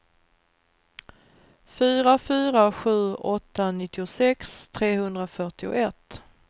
fyra fyra sju åtta nittiosex trehundrafyrtioett